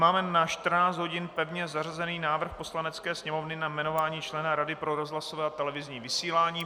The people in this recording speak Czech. Máme na 14 hodin pevně zařazený návrh Poslanecké sněmovny na jmenování člena Rady pro rozhlasové a televizní vysílání.